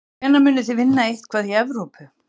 Og hvenær munið þið vinna eitthvað í Evrópu?